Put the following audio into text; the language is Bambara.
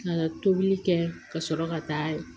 Ka na tobili kɛ ka sɔrɔ ka taa